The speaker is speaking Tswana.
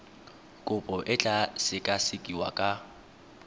kopo e tla sekasekiwa ka